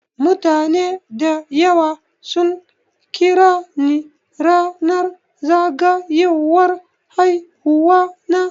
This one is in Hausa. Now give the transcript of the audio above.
Mutane dayawa sun kirani ranar zagayowar haihuwana.